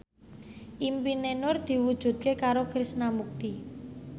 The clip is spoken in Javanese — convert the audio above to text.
impine Nur diwujudke karo Krishna Mukti